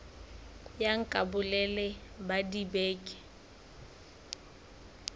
ya nka bolelele ba dibeke